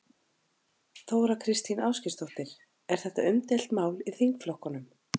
Þóra Kristín Ásgeirsdóttir: Er þetta umdeilt mál í þingflokknum?